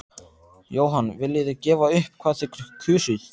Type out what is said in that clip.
Jóhann: Viljið þið gefa upp hvað þið kusuð?